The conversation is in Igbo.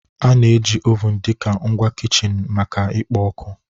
A na-eji ovun dị ka ngwa kichin maka ikpo ọkụ